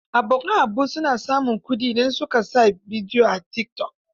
Abokan Habu na samun kuɗi in su ka sa bibiyo a tikitok.